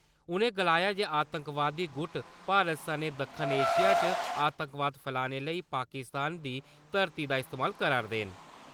उ'नें गलाया जे आतंकवादी गुट , भारत सनैं दक्खन एशिया च आतंकवाद फैलाने लेई पाकिस्तान दी धरतै दा इस्तेमाल करा'रदे न ।